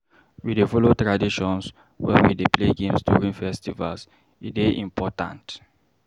We dey follow tradition wen we dey play games during festivals, e dey important.